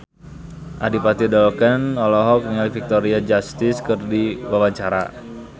Adipati Dolken olohok ningali Victoria Justice keur diwawancara